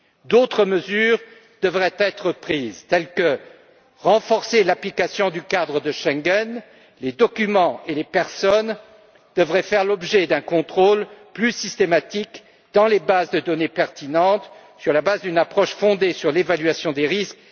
D'autres mesures devraient être prises, telles que le renforcement de l'application du cadre de Schengen les documents et les personnes devraient faire l'objet d'un contrôle plus systématique dans les bases de données pertinentes grâce à une approche fondée sur l'évaluation des risques.